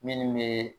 Minnu bɛ